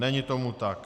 Není tomu tak.